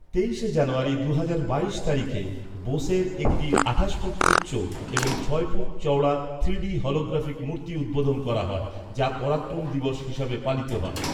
তেইশে জানুয়ারী দুহাজার বাইশ তারিখে বোসের একটি আঠাশ ফুট উচ্চ এবং ছয় ফুট চওড়া থ্রিডি হলোগ্রাফিক মূর্তি উদ্বোধন করা হয়, যা পরাক্রম দিবস হিসাবে পালিত হয়।